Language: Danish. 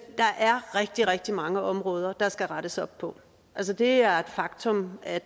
der er rigtig rigtig mange områder der skal rettes op på det er et faktum at